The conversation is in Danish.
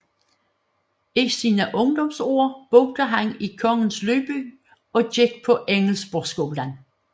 I sine ungdomsår boede han i Kongens Lyngby og gik på Engelsborgskolen